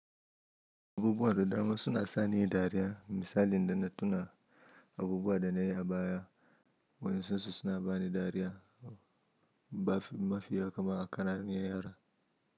Abubuwa da dama suna sani dariya misali da na tuna abubuwa da nayi a baya waensun su na bani dariya mafi yakama a kananin yara.